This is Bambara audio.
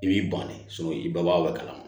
I b'i ban de i bangeba o kalama